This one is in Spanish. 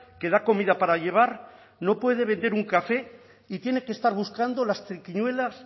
que da comida para llevar no puede vender un café y tiene que estar buscando las triquiñuelas